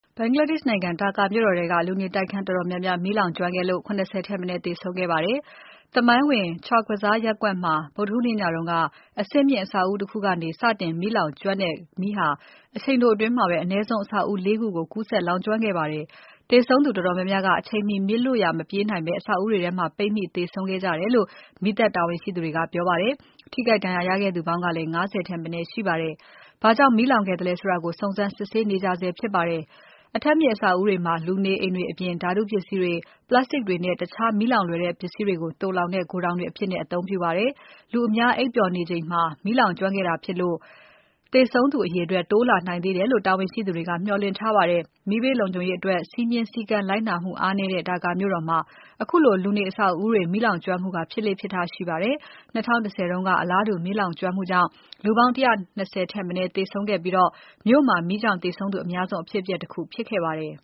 ဘင်္ဂလားဒေ့ရှ် နိုင်ငံမြို့တော် Dhaka မြို့တော်ထဲက လူနေတိုက်ခန်း တော်တော်များများ မီးလောင်ကျွမ်းခဲ့လို့ ၇၀ ထက်မနည်း သေဆုံးခဲ့ပါတယ်။ သမိုင်းဝင် Chawkbazar ရပ်ကွက်မှာ ဗုဒ္ဓဟူးနေ့ညက အထပ်မြင့်အဆောက်အဦးတခုကနေ စတင်လောင်ကျွမ်းတဲ့မီးဟာ အချိန်တိုအတွင် အနည်းဆုံး အဆောက်အဦး ၄ ခုကို ကူးစက်လောင်ကျွမ်းခဲ့ပါတယ်။ သေဆုံးသူတော်တော်များများက အချိန်မှီ မီးလွတ်ရာမပြေးနိုင်ဘဲ အဆောက်အဦးတွေထဲ ပိတ်မိပြီးသေဆုံးခဲ့ကြတာလို့ မီးသတ်တာဝန်ရှိသတွေက ပြောပါတယ်။ ထိခိုက်ဒဏ်ရာရခဲ့သူပေါင်းကလည်း ၅၀ ထက်မနည်းရှိပါတယ်။ ဘာကြောင့် မီးလောင်ခဲ့သလဲဆိုတာကို စုံစမ်းစစ်ဆေးနေကြပါတယ်။ အထပ်မြင့် အဆောက်အဦးတွေမှာ လူနေအိမ်တွေအပြင် ဓါတုပစ္စည်းတွေ၊ Plastic တွေနဲ့ တခြားမီးလောင်လွယ်တဲ့ ပစ္စည်းတွေကို သိုလှောင်တဲ့ ဂိုဒေါင်တွေအဖြစ်လည်း အသုံးပြုကြပါတယ်။ လူအများအိပ်ပျော်နေကြချိန်မှာ မီးလောင်ကျွမ်းခဲ့တာဖြစ်လို့ သေဆုံးသူအရေအတွက် တိုးလာနိုင်သေးတယ်လို့ တာဝန်ရှိသူတွေက မျှော်လင့်ထားကြပါတယ်။ မီးဘေးလုံခြုံရေးအတွက် စည်းမျဉ်းစည်းကမ်း လိုက်နာမှုအားနည်းတဲ့ Dhaka မြို့တော်မှာ ခုလိုလူနေအဆောက်အဦးတွေ မီးလောင်ကျွမ်းမှုက ဖြစ်လေ့ဖြစ်ထရှိပါတယ်။ ၂၀၁၀ တုန်းက အလားတူမီးလောင်ကျွမ်းမှုကြောင့် လူပေါင်း ၁၂၀ ထက်မနည်းသေဆုံးခဲ့ပြီး မြို့မှာ မီးကြောင့်သေဆုံးသူအများဆုံး အဖြစ်အပျက်တခုဖြစ်ခဲ့ပါတယ်